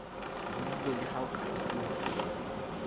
buile leha o ka thola